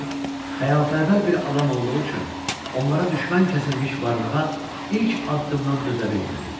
O xəyalpərvər bir adam olduğu üçün onlara düşmən kəsilmiş varlığa ilk addımdan dözə bilmədi.